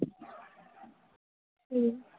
হম